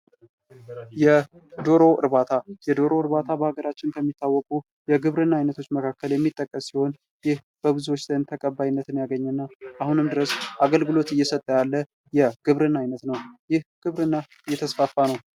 የዶሮ እርባታ የዶሮ እርባታ በሀገራችን ከሚታወቁ የግብርና አይነቶች መካከል የሚጠቀስ ሲሆን ይህ በብዙዎች ዘንድ ተቀባይነትን ያገኘ እና አሁንም ድረስ አገልግሎት እየሰጠ ያለው የግብርና አይነት ነው። ይህ ግብርና እየተስፋፋ ነው።